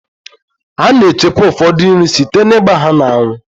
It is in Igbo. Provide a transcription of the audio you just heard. A na-echekwa ụfọdụ nri site na-ịgba ha n'anwụ.